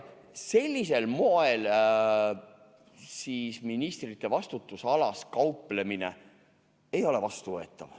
Sellisel moel ministrite vastutusalas kauplemine ei ole vastuvõetav.